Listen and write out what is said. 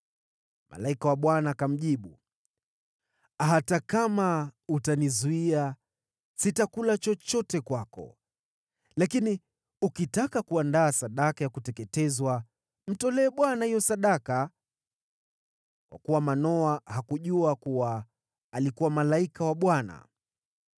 Malaika wa Bwana akamjibu, “Hata kama utanizuia, sitakula chochote kwako. Lakini ukitaka kuandaa sadaka ya kuteketezwa, mtolee Bwana hiyo sadaka.” (Kwa kuwa Manoa hakujua kuwa alikuwa malaika wa Bwana .)